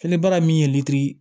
Fili baara min ye litiri